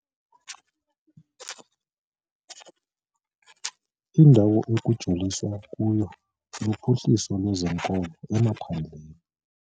Indawo ekujoliswa kuyo luphuhliso lwezikolo emaphandleni.